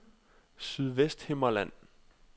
Sydvesthimmerland